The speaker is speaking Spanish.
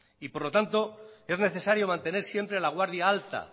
por lo tanto es necesario mantener siempre la guardia alta